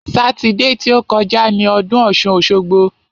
Sátidé ti ó kọjá ni ọdún ọ̀ṣun-òṣogbo.